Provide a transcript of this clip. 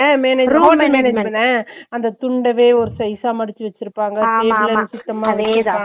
அஹ் management உ அந்த துண்டவே ஒரு size அ மடிச்சு வெச்சுருப்பங்க table எல்லாம் சுத்தமா வெச்சுருப்பாங்க